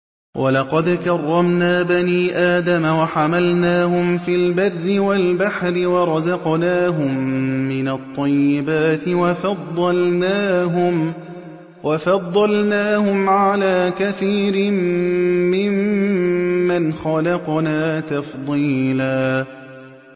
۞ وَلَقَدْ كَرَّمْنَا بَنِي آدَمَ وَحَمَلْنَاهُمْ فِي الْبَرِّ وَالْبَحْرِ وَرَزَقْنَاهُم مِّنَ الطَّيِّبَاتِ وَفَضَّلْنَاهُمْ عَلَىٰ كَثِيرٍ مِّمَّنْ خَلَقْنَا تَفْضِيلًا